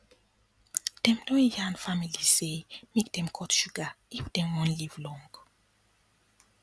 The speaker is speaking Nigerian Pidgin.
dem don yarn families say make dem cut sugar if dem wan live long